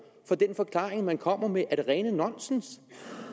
for den forklaring man kommer med er det rene nonsens